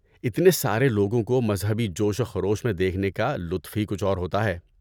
اتنے سارے لوگوں کو مذہبی جوش و خروش میں دیکھنے کا لطف ہی کچھ اور ہوتا ہے۔